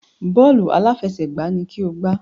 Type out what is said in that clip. Bọ́ọ̀lù aláfẹsẹ̀gbá ni kí o gbá!